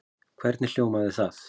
Hvernig hljómaði það?